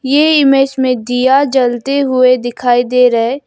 ये इमेज में दिया जलते हुए दिखाई दे रहा है।